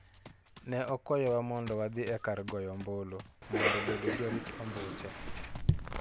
Ne okwayowa mondo wadhi e kar goyo ombulu mondo bedo jorit ombuche.